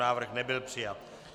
Návrh nebyl přijat.